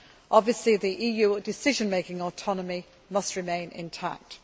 Obviously, the EU decision making autonomy must remain intact.